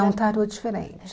É um tarô diferente.